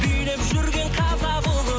билеп жүрген қазақ ұлы